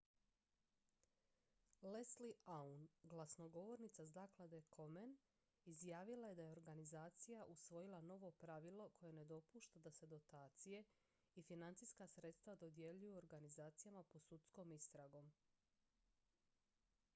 leslie aun glasnogovornica zaklade komen izjavila je da je organizacija usvojila novo pravilo koje ne dopušta da se dotacije i financijska sredstva dodjeljuju organizacijama pod sudskom istragom